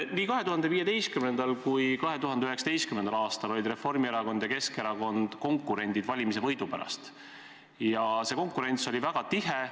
Nii 2015. kui 2019. aastal olid Reformierakond ja Keskerakond konkurendid valimisvõidu pärast ja see konkurents oli väga tihe.